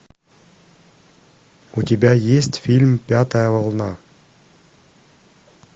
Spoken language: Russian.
у тебя есть фильм пятая волна